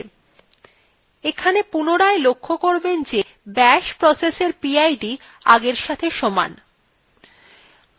এখানে পুনরায় লক্ষ্য করবেন যে bashprocess এর pid আগের সাথে সমান